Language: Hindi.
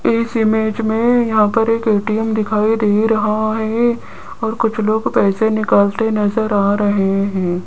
इस इमेज में यहां पर एक ए_टी_म दिखाई दे रहा है और कुछ लोग पैसे निकालते नजर आ रहे हैं।